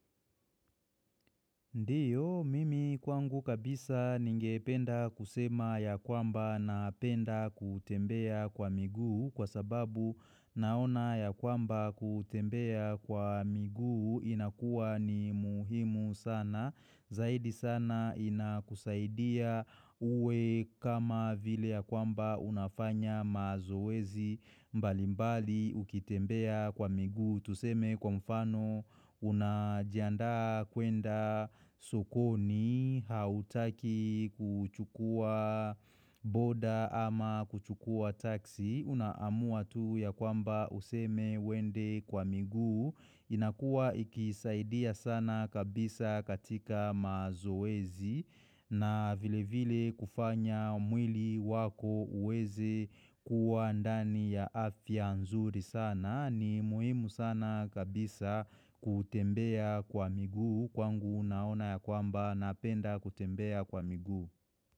Ndiyo, mimi kwangu kabisa ningependa kusema ya kwamba na penda kutembea kwa miguu kwa sababu naona ya kwamba kutembea kwa miguu inakua ni muhimu sana. Zaidi sana inakusaidia uwe kama vile ya kwamba unafanya mazoezi mbalimbali ukitembea kwa miguu Tuseme kwa mfano unajiandaa kwenda sokoni hautaki kuchukua boda ama kuchukua taksi. Unaamua tu ya kwamba useme wende kwa miguu inakua ikisaidia sana kabisa katika mazoezi na vile vile kufanya mwili wako uweze kuwa andani ya afia nzuri sana ni muhimu sana kabisa kutembea kwa migu Kwangu unaona ya kwamba napenda kutembea kwa miguu.